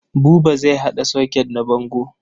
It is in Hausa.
Buba zai haɗa soket na bango.